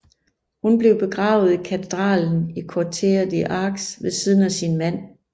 Hun blev begravet i katedralen i Curtea de Argeș ved siden af sin mand